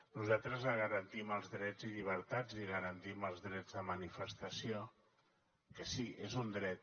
nosaltres garantim els drets i llibertats i garantim els drets de manifestació que sí és un dret